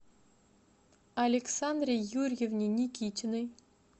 александре юрьевне никитиной